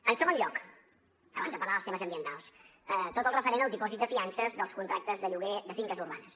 en segon lloc abans de parlar dels temes ambientals tot el referent al dipòsit de fiances dels contractes de lloguer de finques urbanes